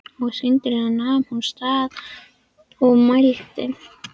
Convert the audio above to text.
Skyndilega nam hún staðar og mælti